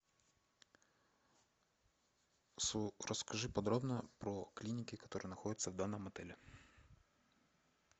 расскажи подробно про клиники которые находятся в данном отеле